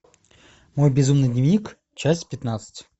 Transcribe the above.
мой безумный дневник часть пятнадцать